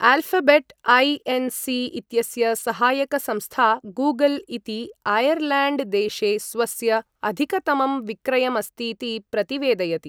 Alphabet Inc. इत्यस्य सहायक संस्था गूगल् इति ऐर्लैण्ड् देशे स्वस्य अधिकतमं विक्रयमस्तीति प्रतिवेदयति।